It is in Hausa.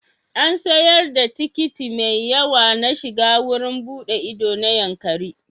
An sayar da tikiti mai yawa na shiga wurin buɗe ido na Yankari.